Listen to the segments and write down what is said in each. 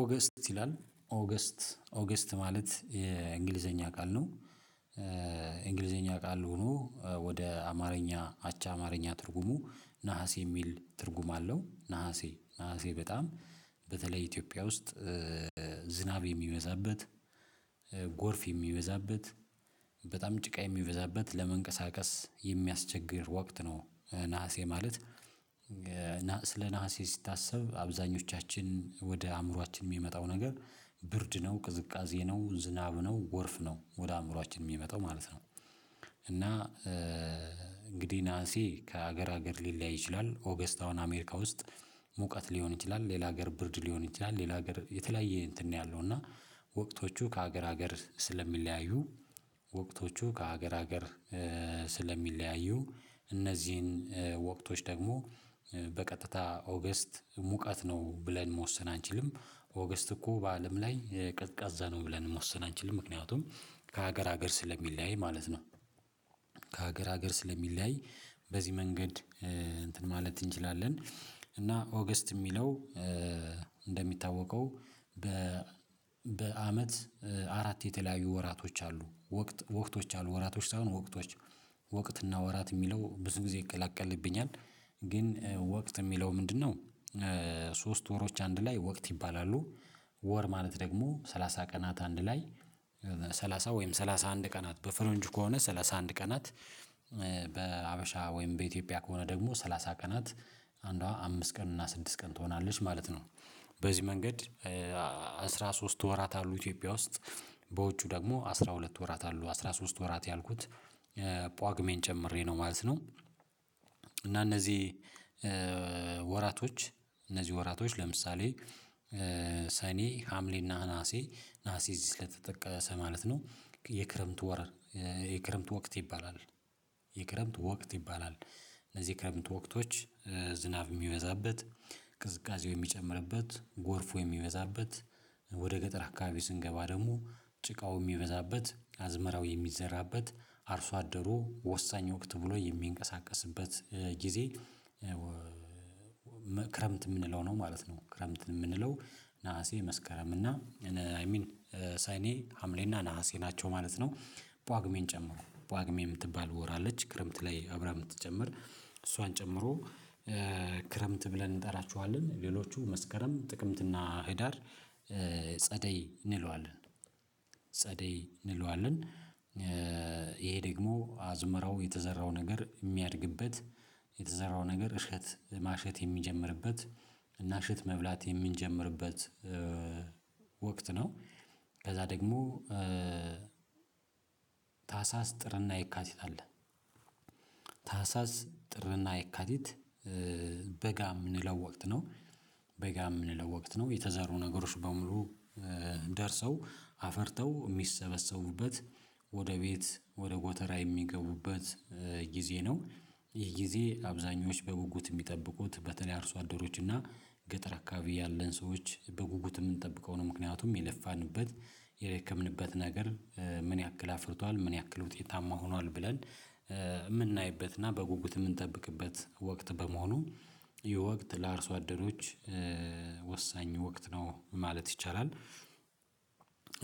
ኦገስት ይላል ኦገስት ኦገስት ማለት የእንግሊዝኛ ቃል ነው እንግሊዘኛ ቃል ሆኖ ወደ አማርኛ አቻ አማርኛ ትርጉሙ ነሀሴ የሚል ትርጉም አለው ነሀሴ ነሀሴ በጣም በተለይ ኢትዮጵያ ውስጥ ዝናብ የሚበዛበት ጎርፍ የሚበዛበት በጣም ጭቃ የሚበዛበት ለመንቀሳቀስ የሚያስቸግር ወቅት ነው ነሀሴ ማለት ስለ ነሀሴ ሲታስብ አብዛኞቻችን ወደ አእምሮአችን የሚመጣው ነገር ብርድ ነው ቅዝቃዜ ነው ዝናብ ነው ጎርፍ ነው ወደ አእምሮአችን የሚመጣው ማለት ነው እና እንግዲህ ነሀሴ ከሀገር ሀገር ሊለያይ ይችላል ኦገስት አሁን አሜሪካ ውስጥ ሙቀት ሊሆን ይችላል ሌላ ሀገር ብርድ ሊሆን ይችላል ሌላ ሀገር የተለያየ እንትን ነው ያለው እና ወቅቶቹ ከሀገር ሀገር ስለሚለያዩ ወቅቶቹ ከሀገር ሀገር ስለሚለያዩ እነዚህን ወቅቶች ደግሞ በቀጥታ ኦገስት ሙቀት ነው ብለን መወሰን አንችልም ኦገስት እኮ በአለም ላይ ቀዝቃዛ ነው ብለን መወሰን አንችልም ምክንያቱም ከሀገር ሀገር ስለሚለያይ ማለት ነው ከሀገር ሀገር ስለሚለያይ በዚህ መንገድ እንትን ማለት እንችላለን እና ኦገስት የሚለው እንደሚታወቀው በ አራት የተለያዩ ወራቶች አሉ ወቅት ወራቶች አሉ ወራቶች ሳይሆን ወራቶች ወቅት እና ወራት የሚለው ብዙ ጊዜ ይቀላቀልብኛል ግን ወቅት የሚለው ምንድነው? ሣስት ወሮች አንድ ላይ ወቅት ይባላሉ ወር ማለት ደግሞ ሰላሳ ቀናት አንድ ላይ ሰላሳ ወይም ሰላሳ አንድ ቀናት በፈረንጅ ከሆነ ሰላሳ አንድ ቀናት በሀበሻ ወይም በኢትዮጵያ ከሆነ ደግሞ ሰላሳ ቀናት አንዷ አምስት ቀን እና ስድስት ቀን ትሆናለች ማለት ነው በዚህ መንገድ አስራ ሶስት ወራት አሉ ኢትዮጵያ ውስጥ በውጩ ደግሞ አስራ ሁለት ወራት አሉ አስራ ሶስት ወራት ያልኩት ጳጉሜን ጨምሬ ነው ማለት ነው እና እነዚህ ወራቶች እነዚህ ወራቶች ለምሳሌ ሰኔ ሀምሌ እና ነሀሴ ነሀሴ እዚህ ስለተጠቀሰ ማለት ነው የክረምት ወር ወራት የክረምት ወቅት ይባላል የክረምት ወቅት ይባላል እነዚህ የክረምት ወቅቶች ዝናብ የሚበዛበት ቅዝቃዜው የሚጨምርበት ጎርፉ የሚበዛበት ወደ ገጠር አካባቢ ስንገባ ደግሞ ጭቃው የሚበዛበት አዝመራው የሚዘራበት አርሶ አደሩ ወሳኝ ወቅት ብሎ የሚንቀሳቀስበት ጊዜ ክረምት የምንለው ነው ማለት ነው ክረምት የምንለው ነሀሴ መስከረም እና አይ ሚን ሰኔ ሀምሌ እና ነሀሴ ናቸው ማለት ነው ጳጉሜን ጨምሮ ጳጉሜን የምትባል ወር አለች ክረምት ላይ አብራ የምትጨምር እሷን ጨምሮ ክረምት ብለን እንጠራቸዋለን ሌሎቹ መስከረም ጥቅምትና ህዳር ጸደይ እንለዋለን ጸደይ እንለዋለን ይሄ ደግሞ አዝመረው የተዘራው ነገር የሚያድግበት የተዘራው ነገር እሸት ማሸት የሚጀምርበት እና እሽት መብላት የምንጀምርበት ወቅት ነው ከዛ ደግሞ ታህሳስ ጥርና የካቲት አለ ታህሳስ ጥርና የካቲት በጋ የምንለው ወቅት ነው በጋ የምንለው ወቅት ነው የተዘሩ ነገሮች በሙሉ ደርሰው አፍርተው የሚሰበሰቡበት ወደ ቤት ወደ ጎተራ የሚገቡበት ጊዜ ነው ይህ ጊዜ አብዛኞች በጉጉት የሚጠብቁት በተለያዩ አርሶ አደሮች እና ገጠር አካባቢ ያለን ሰዎች በጉጉት የምንጠብቀው ነው ምክንያቱም የለፋንበት የደከምንበት ነገር ምን ያክል አፍርቷል ምን ያክል ውጤታማ ሆኗል ብለን የምናይበትና በጉጉት የምንጠብቅበት ወቅት በመሆኑ ይህ ወቅት ለአርሶ አደኖች ወሳኝ ወቅት ነው ማለት ይቻላል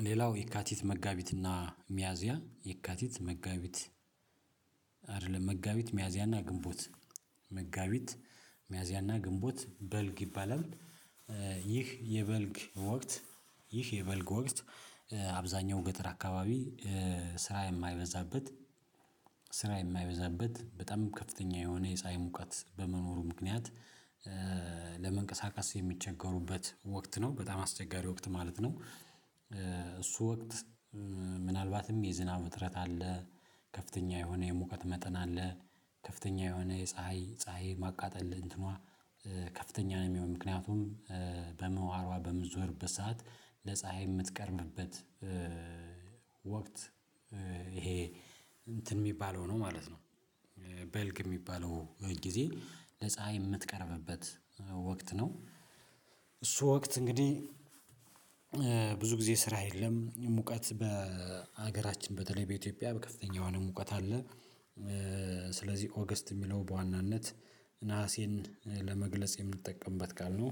ሌላው የካቲት መጋቢትና ሚያዚያ የካቲት መጋቢት አይደለም መጋቢት ሚያዝያና ግንቦት መጋቢት ሚያዝያና ግንቦት በልግ ይባላል ይህ የበልግ ወቅት ይህ የበልግ ወቅት አብዛኛው ገጠር አካባቢ ስራ የማይበዛበት ስራ የማይበዛበት በጣም ከፍተኛ የሆነ የፀሀይ ሙቀት በመኖሩ ምክንያት ለመንቀሳቀስ የሚቸገሩበት ወቅት ነው በጣም አስቸጋሪ ወቅት ማለት ነው እሱ ወቅት ምናልባትም የዝናብ እጥረት አለ ከፍተኛ የሆነ የሙቀት መጠን አለ ከፍተኛ የሆነ የፀሀይ ፀሀይ የማቃጠል እንትኗ ከፍተኛ ነው የሚሆነው ምክንያቱም በምህዋሯ በምዞርበት ሰዓት ለፀሀይ የምትቀርብበት ወቅት ይሄ እንትን የሚባለው ነው ማለት ነው በልግ የሚባለው ጊዜ ለፀሀይ የምትቀርብበት ወቅት ነው እሱ ወቅት እንግዲህ ብዙ ጊዜ ስራ የለም ሙቀት በሀገራችን በተለይ በኢትዮጵያ በከፍተኛ የሆነ ሙቀት አለ ስለዚህ ኦገስት የሚለው በዋናነት ነሐሴን ለመግለጽ የምንጠቀምበት ካልነው